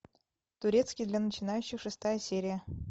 турецкий для начинающих шестая серия